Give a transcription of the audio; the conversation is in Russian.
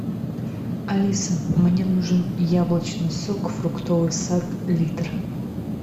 алиса мне нужен яблочный сок фруктовый сад литр